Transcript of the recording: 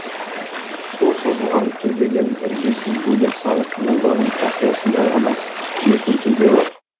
сол созылған төбеден іргесін бөлек салып молданың тақиясындай ғана жетімтөбе бар